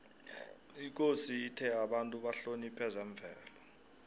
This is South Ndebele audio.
ikosi ithe abantu bahloniphe zemvelo